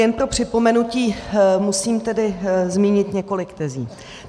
Jen pro připomenutí musím tedy zmínit několik tezí.